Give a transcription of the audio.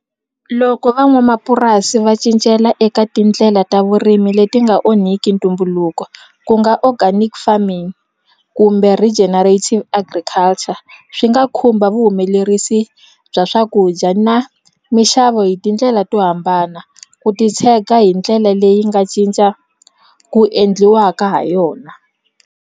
Loko van'wamapurasi va cincela eka tindlela ta vurimi leti nga onhiki ntumbuluko ku nga organic farming kumbe regenerating agriculture swi nga ta khumba vuhumelerisi bya swakudya na mixavo hi tindlela to hambana ku titshega hi ndlela leyi nga cinca ku endliwaka ha yona.